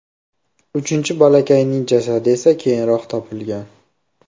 Uchinchi bolakayning jasadi esa keyinroq topilgan.